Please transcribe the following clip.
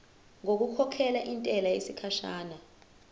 ngokukhokhela intela yesikhashana